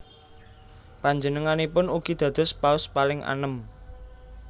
Panjenenganipun ugi dados Paus paling anem